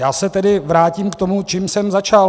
Já se tedy vrátím k tomu, čím jsem začal.